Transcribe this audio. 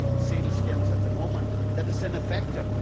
sealskins at the moment that is ineffective.